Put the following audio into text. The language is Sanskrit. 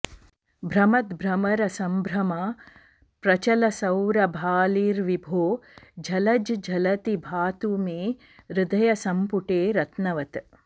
भ्रमद्भ्रमर संभ्रमा प्रचल सौरभालिर्विभो झलज् झलति भातु मे हृदय सम्पुटे रत्नवत्